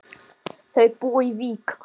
Þau búa í Vík.